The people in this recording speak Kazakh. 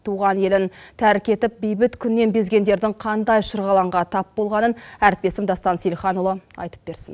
туған елін тәрк етіп бейбіт күннен безгендердің қандай шырғалаңға тап болғанын әріптесім дастан сейілханұлы айтып берсін